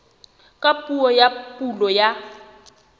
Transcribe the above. ka puo ya pulo ya